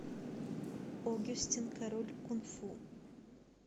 огюстен король кунг фу